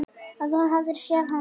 Að þú hafir séð hana?